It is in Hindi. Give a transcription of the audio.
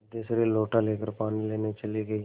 सिद्धेश्वरी लोटा लेकर पानी लेने चली गई